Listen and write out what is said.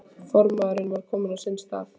Formaðurinn var kominn á sinn stað.